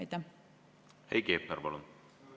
Heiki Hepner, palun!